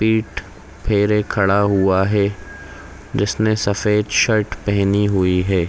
पीठ फेरे खड़ा हुआ है जिसने सफ़ेद शर्ट पेहेनी हुई है।